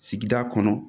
Sigida kɔnɔ